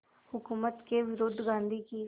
हुकूमत के विरुद्ध गांधी की